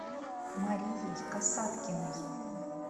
марией касаткиной